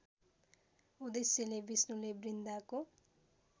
उद्देश्यले विष्णुले वृन्दाको